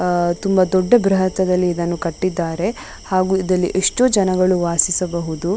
ಅಹ್ ಅಹ್ ದೊಡ್ಡ ಬೃಹತ್ ದಲ್ಲಿ ಇದನ್ನ ಕಟ್ಟಿದ್ದಾರೆ ಹಾಗು ಇದಲ್ಲಿ ಎಷ್ಟೋ ಜನ ವಾಸಿಸಬಹುದು --